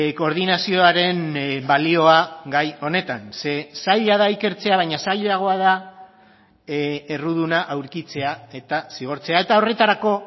koordinazioaren balioa gai honetan ze zaila da ikertzea baina zailagoa da erruduna aurkitzea eta zigortzea eta horretarako